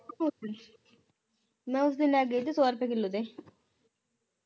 ਉਸ ਦਿਨ ਮੈਂ ਉਸ ਦਿਨ ਲੈ ਗਈ ਸੀ ਸੌ ਰੁਪਏ ਕਿਲੋ ਦੇ